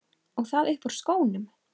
Og það upp úr skónum!